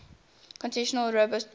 continuing robust growth